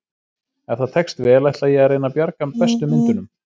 Ef það tekst vel ætla ég að reyna að bjarga bestu myndunum.